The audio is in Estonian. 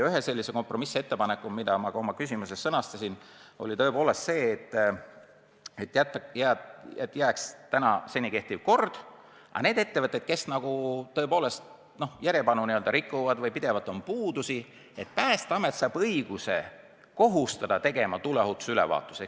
Üks kompromissettepanek, mida ma ka oma küsimuses märkisin, oli see, et jääks seni kehtiv kord, aga need ettevõtjad, kes järjepanu nõudeid ignoreerivad, kel on pidevalt puudusi, peaksid Päästeameti korraldusel tegema tuleohutusülevaatuse.